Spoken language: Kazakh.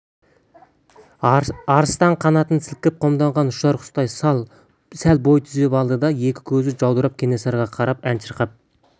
арыстан қанатын сілкіп қомданған ұшар құстай сәл бой түзеп алды да екі көзі жаудырап кенесарыға қарап ән шырқап